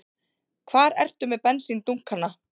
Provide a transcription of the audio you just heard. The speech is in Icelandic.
Hvar ertu með bensíndunkana?